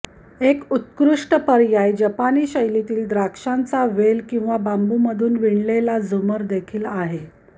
एक उत्कृष्ट पर्याय जपानी शैलीतील द्राक्षांचा वेल किंवा बांबूमधून विणलेला झूमर देखील आहे